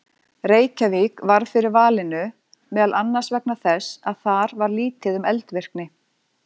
Reykjavík varð fyrir valinu meðal annars vegna þess að þar var lítið um eldvirkni.